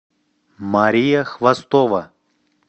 мария хвостова